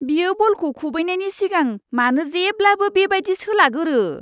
बियो बलखौ खुबैनायनि सिगां मानो जेब्लाबो बे बादि सोलागोरो?